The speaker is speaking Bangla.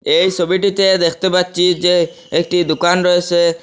এই সোবিটিতে দেখতে পাচ্ছি যে একটি দুকান রয়েসে।